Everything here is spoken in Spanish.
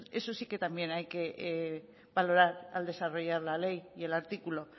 eso sí que también hay que valorar al desarrollar la ley y el artículo